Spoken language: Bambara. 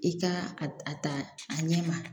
I ka a ta a ɲɛ ma